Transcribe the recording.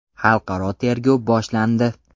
Xalqaro tergov boshlandi.